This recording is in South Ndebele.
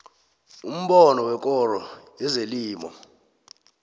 umbono wekoro yezelimo